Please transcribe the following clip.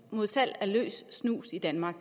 mod salg af løs snus i danmark